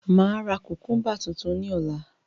Máa ra kukumba tuntun ní ọ̀la